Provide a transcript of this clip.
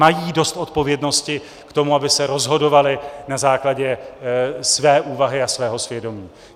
Mají dost odpovědnosti k tomu, aby se rozhodovali na základě své úvahy a svého svědomí.